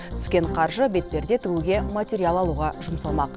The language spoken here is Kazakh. түскен қаржы бетперде тігуге материал алуға жұмсалмақ